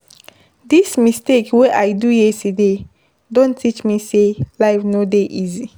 Dis mistake wey I do yesterday don teach me sey life no dey easy.